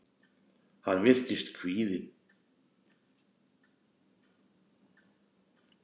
Hann virtist kvíðinn.